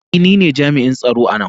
Ee, ni ne jami'in tsaro a nan.